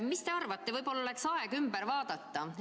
Mis te arvate, võib-olla oleks aeg see üle vaadata?